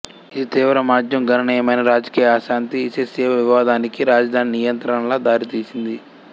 ఇది తీవ్ర మాంద్యం గణనీయమైన రాజకీయ అశాంతి ఇసేస్వేవ్ వివాదానికి రాజధాని నియంత్రణల దారితీసింది